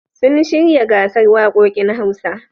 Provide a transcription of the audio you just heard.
Sun shirya gasar waƙoƙin Hausa.